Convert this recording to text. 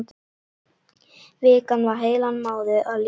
Vikan var heilan mánuð að líða.